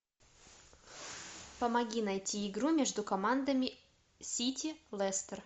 помоги найти игру между командами сити лестер